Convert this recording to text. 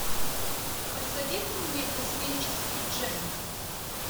посоветуй мне космический джем